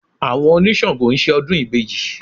Àwọn oníṣàngọ̀ ń ṣe ọdún ìbejì